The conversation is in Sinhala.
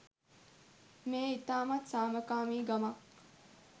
මෙය ඉතාමත් සාමකාමි ගමක්.